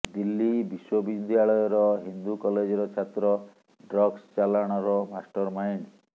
ଦିଲ୍ଲୀ ବିଶ୍ୱବିଦ୍ୟାଳୟର ହିନ୍ଦୁ କଲେଜର ଛାତ୍ର ଡ୍ରଗସ୍ ଚାଲାଣର ମାଷ୍ଟର ମାଇଣ୍ଡ